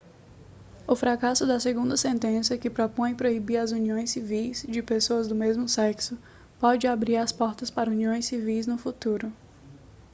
o fracasso da segunda sentença que propõe proibir as uniões civis de pessoas do mesmo sexo pode abrir as portas para uniões civis no futuro